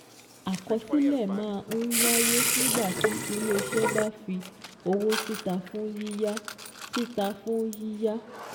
Àkọsílẹ̀ má n wáyé nígbà tí ilé-iṣẹ́ bá fi owó síta fún yíyá síta fún yíyá